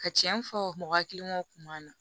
Ka cɛn fɔ mɔgɔ hakiliw kun m'an na